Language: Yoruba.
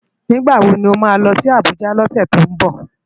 Nigbá wó má lòsi Abuja lòsè tó nbò?